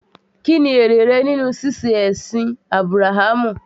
Kí ni èrè rẹ nínú ṣíṣe ẹ̀sìn Ábúráhámù?